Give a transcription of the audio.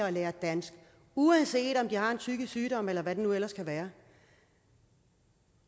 at lære dansk uanset om de har en psykisk sygdom eller hvad det nu ellers kan være